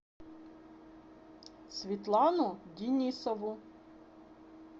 светлану денисову